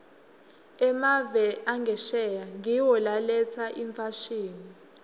emave angesheya ngiwo laletsa imfashini